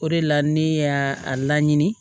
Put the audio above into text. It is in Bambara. O de la ne y'a a laɲini